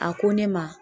A ko ne ma